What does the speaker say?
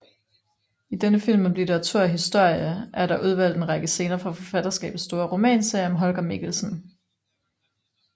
I denne film om litteratur og historie er der udvalgt en række scener fra forfatterskabets store romanserie om Holger Mikkelsen